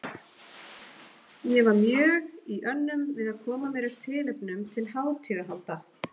Bara ég og þú.